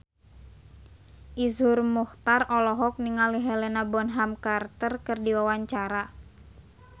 Iszur Muchtar olohok ningali Helena Bonham Carter keur diwawancara